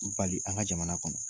Bali a ka jamana kɔnɔ.